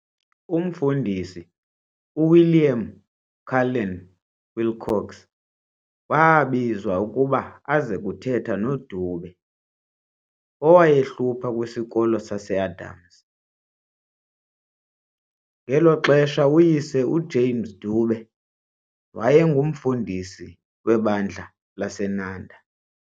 Umfundisi uWilliam Cullen Wilcox waabizwa ukuba aze kuthetha noDube, owayehlupha kwisikolo saseAdams. ngelo xesha uyise uJames Dube wayengumfundisi webandla laseNanda.